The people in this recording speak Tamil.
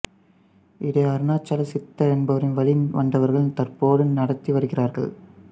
இதை அருணாச்சல சித்தர் என்பவரின் வழி வந்தவர்கள் தற்போது நடத்தி வருகிறார்கள்